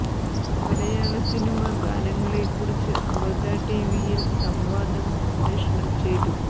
മലയാള സിനിമാ ഗാനങ്ങളെക്കുറിച്ച് അമൃത ടി വിയിൽ സംവാദം സംപ്രേഷണം ചെയ്തു